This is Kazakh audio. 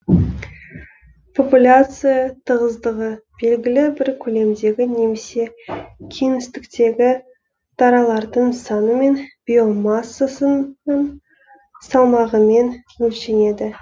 популяция тығыздығы белгілі бір көлемдегі немесе кеңістіктегі даралардың саны мен биомассасының салмағымен өлшенеді